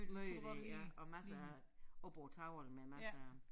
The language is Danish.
Møde der ja og masser af oppe på æ tavle med masser af